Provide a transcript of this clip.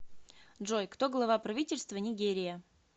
джой кто глава правительства нигерия